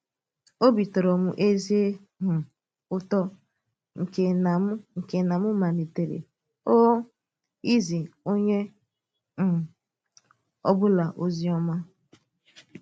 Òbì tọ̀rọ̀ m ezi um ùtò nke na m nke na m malitèrè um ìzí onye ọ̀ um bụla ozi ọma.